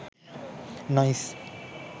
nice